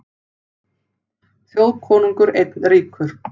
Þjóðkonungur einn ríkur.